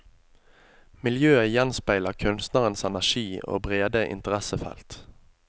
Miljøet gjenspeiler kunstnerens energi og brede interessefelt.